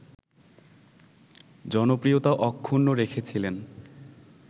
জনপ্রিয়তা অক্ষুণ্ন রেখেছিলেন